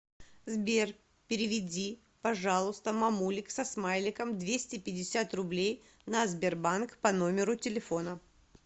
сбер переведи пожалуйста мамулик со смайликом двести пятьдесят рублей на сбербанк по номеру телефона